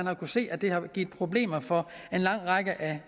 har kunnet se at det har givet problemer for en lang række af